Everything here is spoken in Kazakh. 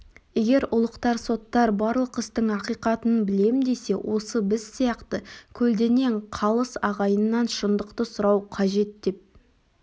егер ұлықтар соттар барлық істің ақиқатын білем десе осы біз сияқты көлденең қалыс ағайыннан шындықты сұрау қажет деп